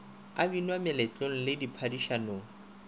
e binwa meletlong le diphadišanong